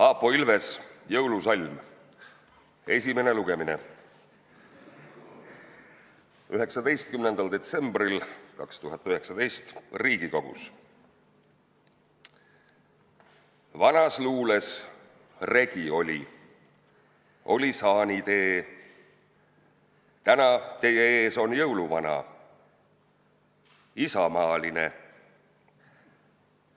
Aapo Ilves, "Jõulusalm", esimene lugemine 19. detsembril 2019 Riigikogus: Vanas luules regi oli, oli saanitee, täna teie ees on jõuluvana, isamaaline.